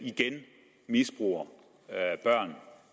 igen misbruger børn